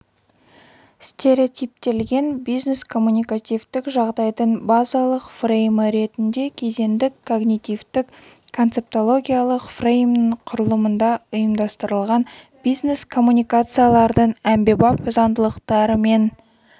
стереотиптелген бизнес-коммуникативтік жағдайдың базалық фреймі ретінде кезеңдік когнитивтік концептологиялық фреймнің құрылымында ұйымдастырылатын бизнес коммуникациялардың әмбебап заңдылықтары мен